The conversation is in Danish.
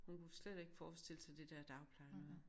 Hun kunne slet ikke forstille sig det der dagpleje noget